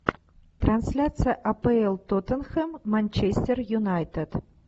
трансляция апл тоттенхэм манчестер юнайтед